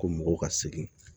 Ko mɔgɔw ka segin